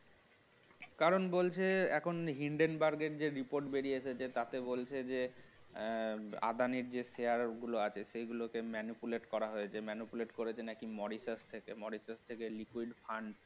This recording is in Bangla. কারণ বলছে এখন hindenburg এর যে report বেরিয়েছে তাতে বলছে যে আদানির যে share গুলো আছে সেগুলো কে manipulate করা হয়েছে manipulate করেছে নাকি মরিশাস থেকে মরিশাস থেকে liquid fund